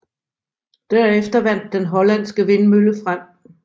Derefter vandt den hollandske vindmølle frem